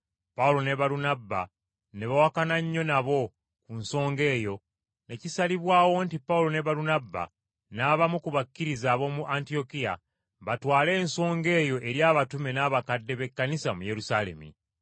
Pawulo ne Balunabba ne bawakana nnyo nabo ku nsonga eyo ne kisalibwawo nti Pawulo ne Balunabba n’abamu ku bakkiriza ab’omu Antiyokiya, batwale ensonga eyo eri abatume n’abakadde b’Ekkanisa mu Yerusaalemi.